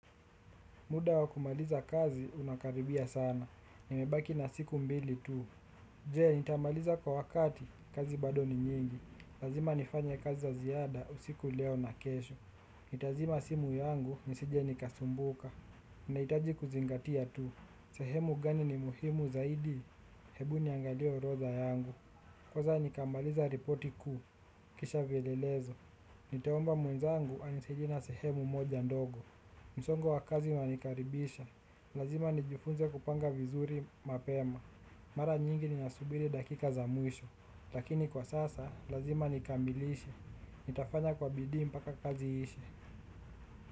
Muda wakumaliza kazi unakaribia sana. Nimebaki na siku mbili tu. Jee, nitamaliza kwa wakati, kazi bado ni nyingi. Lazima nifanya kazi za ziada, usiku leo na kesho. Nitazima simu yangu, nisije nikasumbuka. Naitaji kuzingatia tu. Sehemu gani ni muhimu zaidi? Hebu niangalie orotha yangu. Kwanza, nikamaliza ripoti kuu. Vielelezo nitaomba mwenzangu anisaidie na sehemu moja ndogo. Msongo wakazi unanikaribisha. Lazima nijifunze kupanga vizuri mapema. Mara nyingi ninasubiri dakika za mwisho. Lakini kwa sasa lazima nikamilishe nitafanya kwa bidii mpaka kazi iishe.